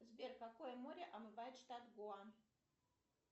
сбер какой море омывает штат гоа